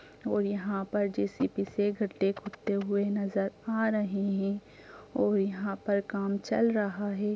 और यहाँ पर जे.सी.बी. से गड्डे खुदते हुए नजर आ रहे हैं और यहाँ पर काम चल रहा है।